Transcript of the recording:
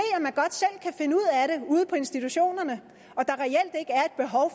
at ude på institutionerne